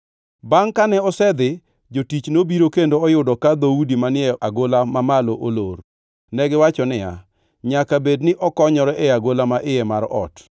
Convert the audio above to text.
jonon pinygo noneno ngʼato ka wuok e dala maduongʼ kendo negiwachone niya, “Kinyiswa e yo midonjogo e dala cha to ok wabi yie mondo gimoro otimi.”